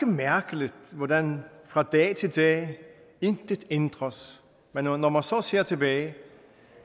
mærkeligt hvordan fra dag til dag intet ændres men når når man så ser tilbage